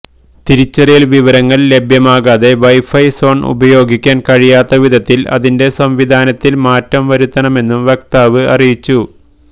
തിരിച്ചറിയൽ വിവരങ്ങൾ ലഭ്യമാക്കാതെ വൈഫൈ സോൺ ഉപയോഗിക്കാൻ കഴിയാത്ത വിധത്തിൽ അതിന്റെ സംവിധാനത്തിൽ മാറ്റം വരുത്തണമെന്നും വക്താവ് അറിയിച്ചു